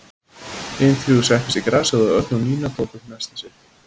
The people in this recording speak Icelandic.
Hin þrjú settust í grasið og Örn og Nína tóku upp nestið sitt.